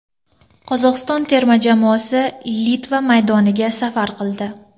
Qozog‘iston terma jamoasi Litva maydoniga safar qildi.